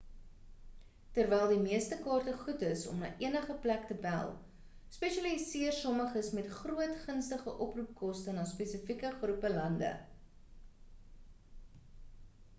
terwyl die meeste kaarte goed is om na enige plek te bel spesialiseer sommiges met meer gunstige oproepkoste na spesifieke groepe lande